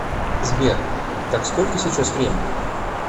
сбер так сколько сейчас время